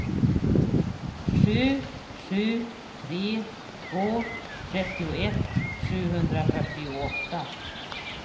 sju sju tre två trettioett sexhundrafyrtioåtta